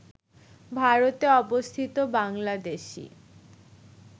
ভারতে অবস্থিত বাংলাদেশী